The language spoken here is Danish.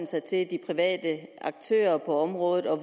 sig til de private aktører på området og